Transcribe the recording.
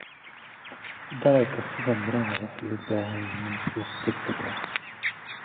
Dalagga sida miraha waxay u baahan yihiin suuq degdeg ah.